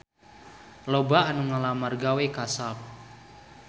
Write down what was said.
Loba anu ngalamar gawe ka Sharp